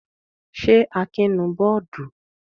Ṣé Akin nù bọ́ọ́dù?